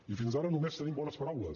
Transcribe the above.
i fins ara només tenim bones paraules